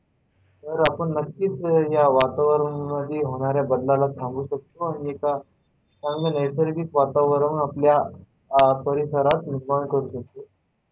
तर आपण नक्कीच ह्या वातावरण मध्ये होणाऱ्या बदलाला थांबवू शकतो आणि एका चांगल्या नैसर्गिक वातावरण आह आपल्या परिसरात निर्माण करू शकतो.